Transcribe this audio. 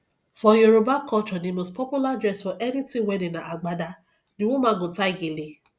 for yoruba culture the most popular dress for anything wedding na agbada the woman go tie gele